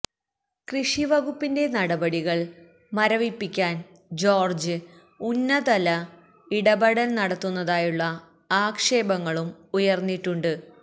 കൃഷിവകുപ്പിന്റെ നടപടികൾ മരവിപ്പിയ്്ക്കാൻ ജോർജ്ജ് ഉന്നതല ഇടപെടൽ നടത്തുന്നതായുള്ള ആക്ഷേപങ്ങളും ഉയർന്നിട്ടുണ്ട്